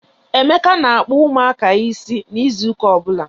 Emeka na-akpu ụmụaka is na ịzụ ụka ọbụla.